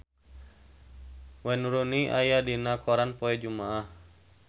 Wayne Rooney aya dina koran poe Jumaah